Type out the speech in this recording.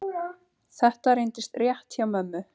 Þetta reyndist rétt hjá mömmu.